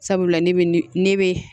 Sabula ne bɛ ne ne bɛ